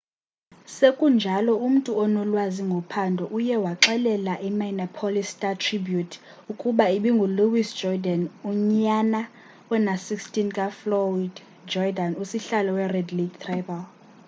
sekunjalo umntu onolwazi ngophando uye waxelela i-minneapolis star-tribune ukuba ibingu-louis jourdain unyana ona-16 kafloyd jourdan usihlalo we-red lake tribal